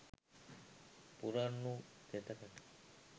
පුරන් වූ කෙතකට